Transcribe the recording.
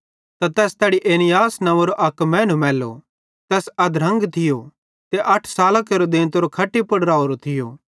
त तैस तैड़ी ऐनियास नव्वेंरो अक मैनू मैल्लो तैस अधरंग थियो ते अठे सालां केरो देंतो खट्टी पुड़ राहोरो थियो